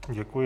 Děkuji.